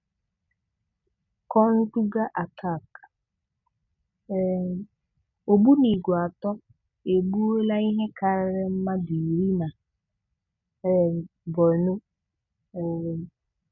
Konduga Attack: um Ǫ̀gbùnìgwè atọ egbùòlá ihe kárịrị mmadụ iri na um Borno. um